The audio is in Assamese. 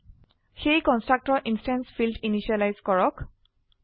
সেয়ে কনস্ট্ৰাক্টৰ ইনস্ট্যান্স ফীল্ড ইনিসিয়েলাইজ কৰক